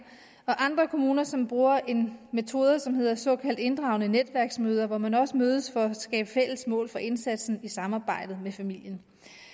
og andre kommuner som bruger en metode som hedder såkaldt inddragende netværksmøder hvor man også mødes for at skabe fælles mål for indsatsen i samarbejde med familien